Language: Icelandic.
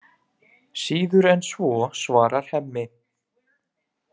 Síður en svo, svarar Hemmi.